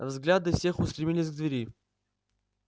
взгляды всех устремились к двери